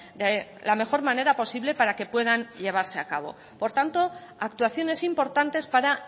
de la mejor manera posible para que puedan llevarse a cabo por tanto actuaciones importantes para